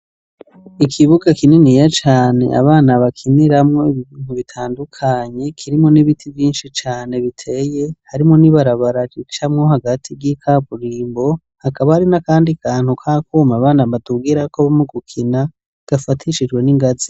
Ikibuga kininiya cane abana bakiniramwo ibintu bitandukanye kirimwo n'ibiti vyinshi cane biteye, harimwo n'ibarabara ricamwo hagati y'ikaburimbo, hakaba hari n'akandi kantu k'akuma abana badugirako mu gukina gafatishijwe n'ingazi.